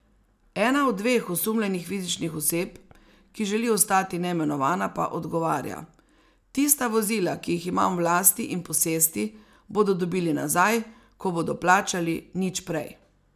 Ena od dveh osumljenih fizičnih oseb, ki želi ostati neimenovana, pa odgovarja: ''Tista vozila, ki jih imam v lasti in posesti, bodo dobili nazaj, ko bodo plačali, nič prej.